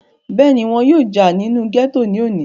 bẹ́ẹ̀ni, wọn yóò jà nínú gẹ́tò ní òní